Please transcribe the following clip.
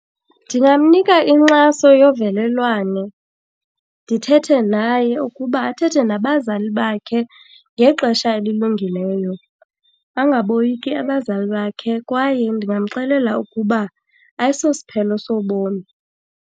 Ndingamnika inkxaso yovelelwane. Ndithethe naye ukuba athethe nabazali bakhe ngexesha elilungileyo, angaboyiki abazali bakhe. Kwaye ndingamxelela ukuba ayisosiphelo sobomi.